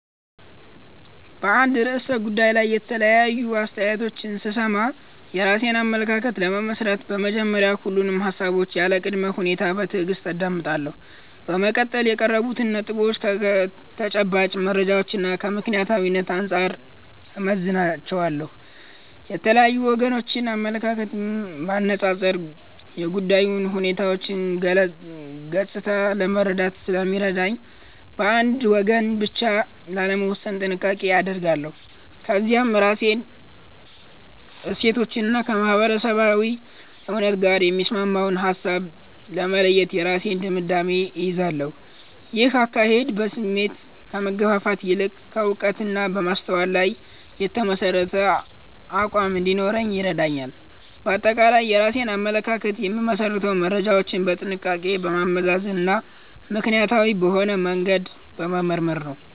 በአንድ ርዕሰ ጉዳይ ላይ የተለያዩ አስተያየቶችን ስሰማ፣ የራሴን አመለካከት ለመመስረት በመጀመሪያ ሁሉንም ሃሳቦች ያለ ቅድመ ሁኔታ በትዕግስት አዳምጣለሁ። በመቀጠል የቀረቡትን ነጥቦች ከተጨባጭ መረጃዎችና ከምክንያታዊነት አንጻር እመዝናቸዋለሁ። የተለያዩ ወገኖችን አመለካከት ማነጻጸር የጉዳዩን ሁለንተናዊ ገጽታ ለመረዳት ስለሚረዳኝ፣ በአንድ ወገን ብቻ ላለመወሰን ጥንቃቄ አደርጋለሁ። ከዚያም ከራሴ እሴቶችና ከማህበረሰባዊ እውነት ጋር የሚስማማውን ሃሳብ በመለየት የራሴን ድምዳሜ እይዛለሁ። ይህ አካሄድ በስሜት ከመገፋፋት ይልቅ በዕውቀትና በማስተዋል ላይ የተመሠረተ አቋም እንዲኖረኝ ይረዳኛል። ባጠቃላይ የራሴን አመለካከት የምመሰርተው መረጃዎችን በጥንቃቄ በማመዛዘንና ምክንያታዊ በሆነ መንገድ በመመርመር ነው።